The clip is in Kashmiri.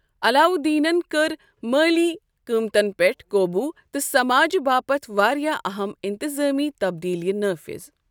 علاوالدینن کٔرۍ مٲلی قۭمتن پیٹھ قوبوٗ تہٕ سماجہِ باپت واریاہ اہم انتظٲمی تبدیٖلیہ نٲفِظ۔